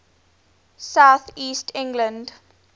south east england